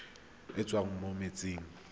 e e tswang mo metsing